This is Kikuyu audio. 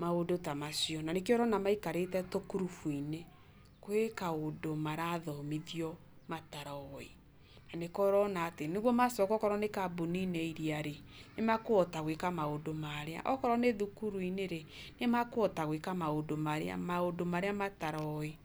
maũndũ tamacio. Na nĩkio ũrona maikarĩte tũkũrubu-inĩ, kwĩmaũndũ marabundithio mataroĩ. Na nĩkio ũrona atĩ, onaakorwo nĩgũcoka kambuni-inĩ iria rĩ, nĩmekũhota gũĩka maũndũ maarĩa. Okorwo nĩ thimũ-inĩ rĩ, nĩmakũhota gũĩka maũndũ marĩa mataroĩ.